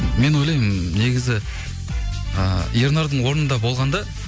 мен ойлаймын негізі ы ернардың орнында болғанда